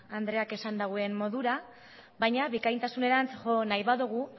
andreak esan dauen modura baina bikaintasunerantz jo nahi badogu